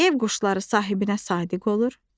Ev quşları sahibinə sadiq olur.